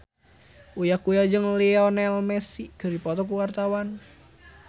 Uya Kuya jeung Lionel Messi keur dipoto ku wartawan